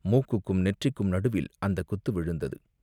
மூக்குக்கும் நெற்றிக்கும் நடுவில் அந்தக் குத்து விழுந்தது.